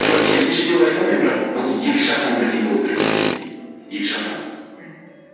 жоқ керісінше деп айта алмаймын бірақ бұл екі жақтан бірдей болу керек деп есептеймін екі жақтан мхм